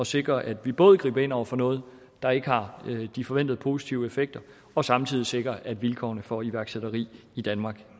sikre at vi både griber ind over for noget der ikke har de forventede positive effekter og samtidig sikrer at vilkårene for iværksætteri i danmark